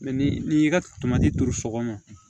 ni y'i ka tamati turu sɔgɔma